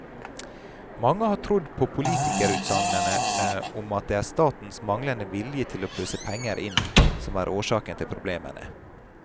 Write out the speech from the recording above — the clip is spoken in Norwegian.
Mange har trodd på politikerutsagnene om at det er statens manglende vilje til å pøse penger inn, som er årsaken til problemene.